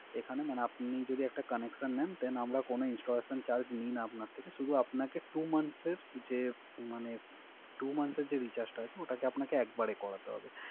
এখানে আপনি যদি একটা Connection নেন তাহলে কোন Installation Charge নেই না আপনা থেকে। শুধু আপনাকে Two month এর যে Recharge টা আছে ওটাকে আপনাকে একবারে করাতে হবে।